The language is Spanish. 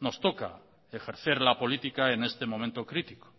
nos toca ejercer la política en este momento crítico